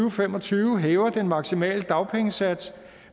og fem og tyve hæver den maksimale dagpengesats